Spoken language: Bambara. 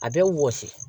A bɛ wɔsi